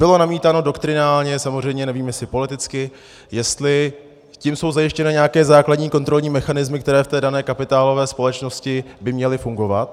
Bylo namítáno doktrinálně samozřejmě, nevím, jestli politicky, jestli tím jsou zajištěny nějaké základní kontrolní mechanismy, které v té dané kapitálové společnosti by měly fungovat.